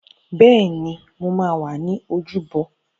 Bẹ́ẹ̀ni, mo wà ní ojúbọ